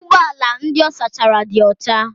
Ụgbọ ala ndị ọ sachara dị ọcha.